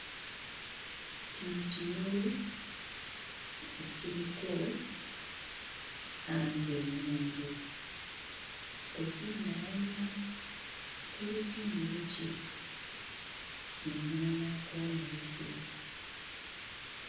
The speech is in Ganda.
Kino kimuli ekiriko langi ennungi. Tekinnayanya, kuliko enjuki enoonyaako omubisi.